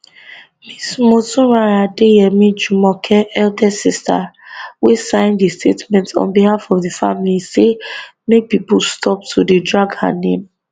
ms motunrayo adeyemi jumoke eldest sister wey sign di statement on behalf of di family say make pipo stop dey drag her name